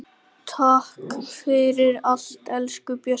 Takk fyrir allt, elsku Bjössi.